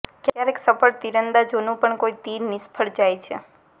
ક્યારેક સફળ તીરંદાજોનું પણ કોઈ તીર નિષ્ફળ જાય છે